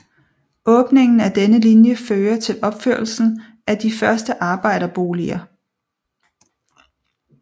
Åbningen af denne linje fører til opførelsen af de første arbejderboliger